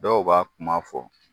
Dɔw ba kuma fɔ.